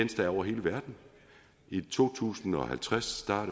der er over hele verden i to tusind og halvtreds er